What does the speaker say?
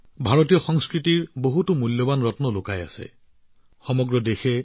ভাৰতীয় সংস্কৃতিৰ বহু অমূল্য ৰত্ন তেলেগু ভাষাৰ সাহিত্য আৰু ঐতিহ্যত লুকাই আছে